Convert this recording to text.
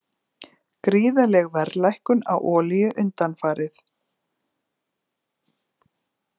Gríðarleg verðlækkun á olíu undanfarið